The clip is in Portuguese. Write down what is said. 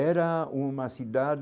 Era uma